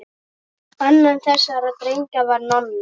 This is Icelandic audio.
Annar þessara drengja var Nonni.